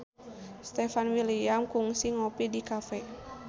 Stefan William kungsi ngopi di cafe